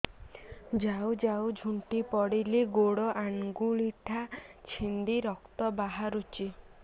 ଯାଉ ଯାଉ ଝୁଣ୍ଟି ପଡ଼ିଲି ଗୋଡ଼ ଆଂଗୁଳିଟା ଛିଣ୍ଡି ରକ୍ତ ବାହାରୁଚି